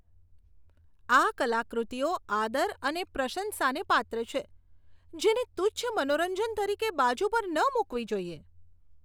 આ કલાકૃતિઓ આદર અને પ્રશંસાને પાત્ર છે, જેને તુચ્છ મનોરંજન તરીકે બાજુ પર ન મૂકવી જોઈએ.